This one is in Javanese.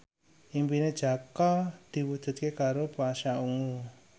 impine Jaka diwujudke karo Pasha Ungu